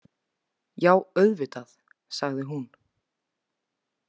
Já, auðvitað, sagði hún.